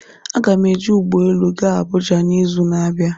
Aga m eji ụgbọ elu gaa Abuja n'izu na-abịa